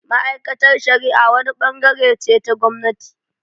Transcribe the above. Ma’aikatar shari’a wani bangare ce ta gwamnati